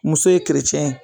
Muso ye